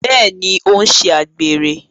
Bẹẹni, o n ṣe àgbèrè